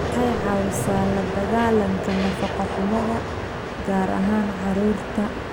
Waxay caawisaa la dagaalanka nafaqo-xumada, gaar ahaan carruurta.